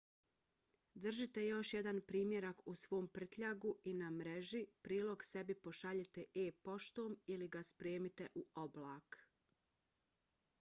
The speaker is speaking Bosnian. držite još jedan primjerak u svom prtljagu i na mreži prilog sebi pošaljite e-poštom ili ga spremite u oblak